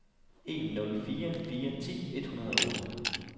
en nul fire fire ti et hundrede og otte